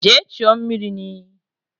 Jee chuo mmiri n'iyi!